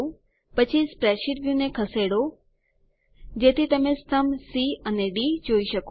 પછી spreadsheet view ને ખસેડો જેથી તમે સ્તંભ સી અને ડી જોઈ શકો